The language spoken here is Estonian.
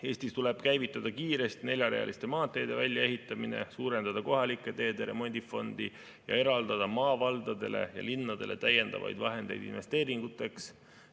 Eestis tuleb käivitada kiiresti neljarealiste maanteede väljaehitamine, suurendada kohalike teede remondifondi ja eraldada valdadele ja linnadele täiendavaid vahendeid investeeringuteks.